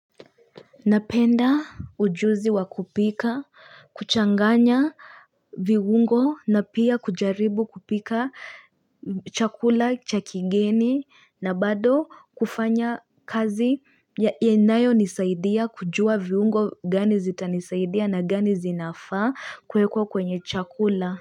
Napenda ujuzi wa kupika kuchanganya viungo na pia kujaribu kupika chakula cha kigeni na bado kufanya kazi ya inayo nisaidia kujua viungo gani zitanisaidia na gani zinafa kuwekua kwenye chakula.